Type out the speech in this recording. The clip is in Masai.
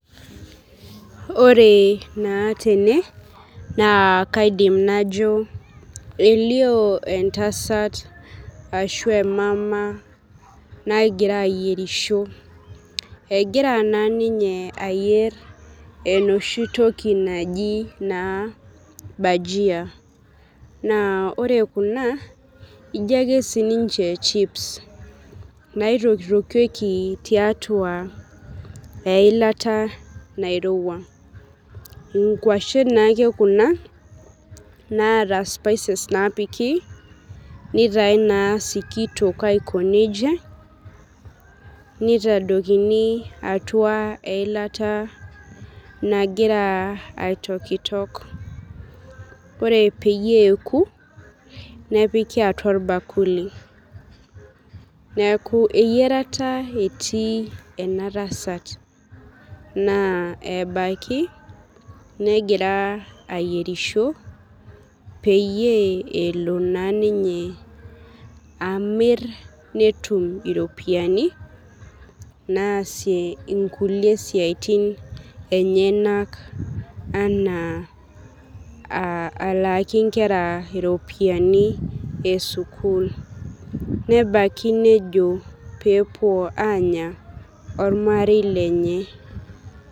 Ore na tene na kaidim najo elio entasat ashu emama nagira ayierisho egira na ninye ayier enoshi toki naji na bajia na ore kuna na ijo ake chips naitokitokieki tiatua eilata nairowua nkwashen naake kuna naata spices napiki nitae sikitok aikonejia nitodokini atua eilata nagira aitokitok ore peyie eeku nepiki atua orbakuli neaku eyiarata etii enatasat na ebaki negira ayierisho pelo amir netum iropiyani naasie nkulie siatin enyenak ana alaaki nkera ropiyani esukul nebaki nejo pepuo anya ormarei lenye.